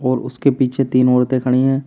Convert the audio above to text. और उसके पीछे तीन औरतें खड़ी हैं।